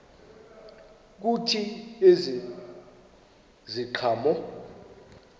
kuthi ezi ziqhamo